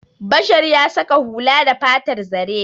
Bashar ya saƙa hula da fatar zare.